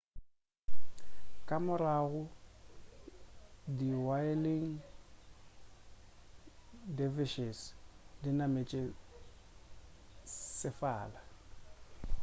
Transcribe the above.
ka morago di whirling dervishes di nametše sefala